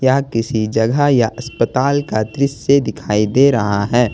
अब किसी जगह या अस्पताल का दृश्य दिखाई दे रहा है ।